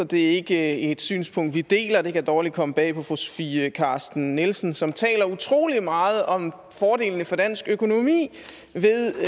det er ikke et synspunkt vi deler og det kan dårligt komme bag på fru sofie carsten nielsen som taler utrolig meget om fordelene for dansk økonomi ved